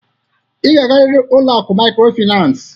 Ị ga-agarịrị ụlọ akụ mikrofinas!